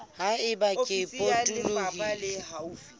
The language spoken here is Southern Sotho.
ha eba kere e potolohisang